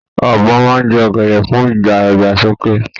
Ọbọ́ máa n jẹ ọgẹdẹ fún ìdàgbàsókè.